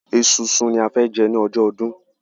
Esunsun ní a fẹ jẹ ní ọjọ́ ọdún